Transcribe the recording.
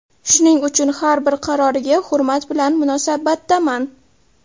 Shuning uchun har bir qaroriga hurmat bilan munosabatdaman”.